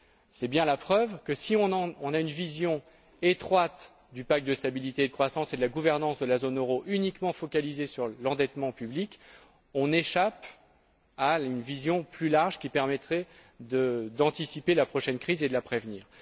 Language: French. C'est bien la preuve que, si on a une vision étroite du pacte de stabilité et de croissance et de la gouvernance de la zone euro uniquement focalisée sur l'endettement public, on échappe à une vision plus large qui permettrait d'anticiper la prochaine crise et de la prévenir.